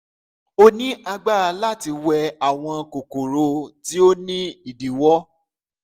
o ni agbara lati wẹ awọn kokoro ti o ni idiwọ